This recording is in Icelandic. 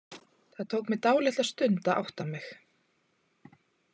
Það tók mig dálitla stund að átta mig.